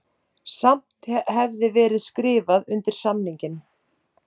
Samt hefði verið skrifað undir samninginn